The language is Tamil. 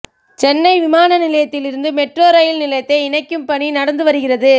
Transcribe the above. சென்னை விமான நிலையத்திலிருந்து மெட்ரோ ரயில் நிலையத்தை இணைக்கும் பணி நடந்து வருகிறது